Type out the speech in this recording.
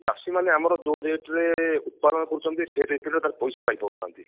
କି ଚାଷୀ ମାନେ ଆମର ଯୋଉ rate ରେ ଉତ୍ପାଦନ କରୁଛନ୍ତି ସେଇ rate ରେ ତାର ପଇସା ପାଇ ପାରୁନାହାନ୍ତି